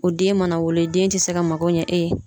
O den mana wolo e den te se ka mago ɲɛ e ye